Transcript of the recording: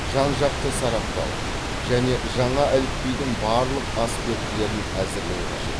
жан жақты сараптау және жаңа әліпбидің барлық аспектілерін әзірлеу қажет